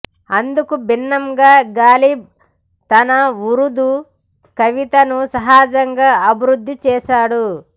అందుకు భిన్నంగా గాలిబ్ తన ఉరుదూ కవితను సహజంగా అభివృద్ధి చేశాడు